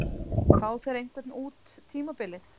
Fá þeir einhvern út tímabilið?